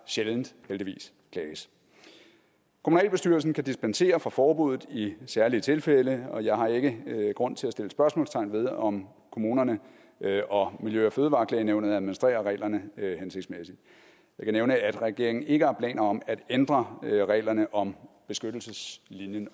sjældent heldigvis klages kommunalbestyrelsen kan dispensere fra forbuddet i særlige tilfælde og jeg har ikke grund til at sætte spørgsmålstegn ved om kommunerne og miljø og fødevareklagenævnet administrerer reglerne hensigtsmæssigt jeg kan nævne at regeringen ikke har planer om at ændre reglerne om beskyttelseslinjen